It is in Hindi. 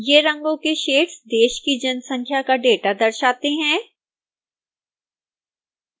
ये रंगों के शेड्स देश की जनसंख्या का डेटा दर्शाते हैं